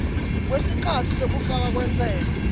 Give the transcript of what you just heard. kwesikhatsi sekufakwa kwentsela